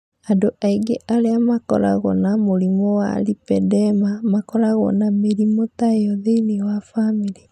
Andũ aingĩ arĩa makoragwo na mũrimũ wa lipedema makoragwo na mĩrimũ ta ĩyo thĩinĩ wa famĩlĩ.